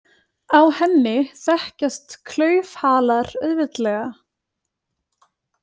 Á henni þekkjast klaufhalar auðveldlega.